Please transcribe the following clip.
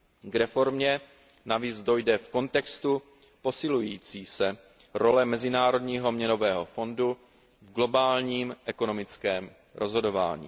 K reformě navíc dojde v kontextu posilující se role Mezinárodního měnového fondu v globálním ekonomickém rozhodování.